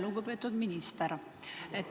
Lugupeetud minister!